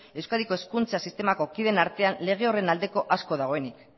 euskadiko hezkuntza sistemako kideen artean lege horren aldeko asko dagoenik